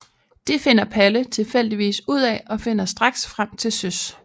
Det finder Palle tilfældigvis ud af og finder straks frem til Søs